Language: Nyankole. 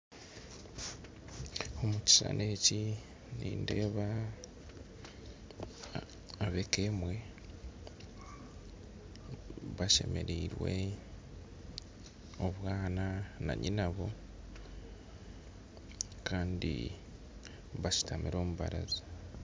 Omu kishushani eki nindeeba ab'eka emwe bashemereirwe, obwana na nyina-bwo, kandi bashutami aha baraza